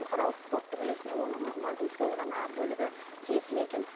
бұқаралық спорттың үлесіне оның мардымсыз ғана бөлігі тиесілі екен